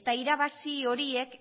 eta irabazi horiek